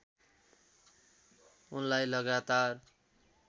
उनलाई लगातार